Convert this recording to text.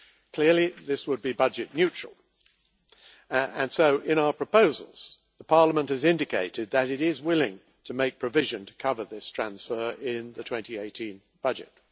Clearly, this would be budget neutral, and so in our proposals Parliament has indicated that it is willing to make provision to cover this transfer in the 2018 budget.